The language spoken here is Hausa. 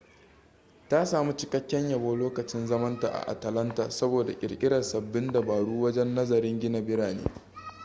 ta sami cikakken yabo lokacin zaman ta a atalanta saboda kirkirar sabbin dabaru wajen nazarin gina birane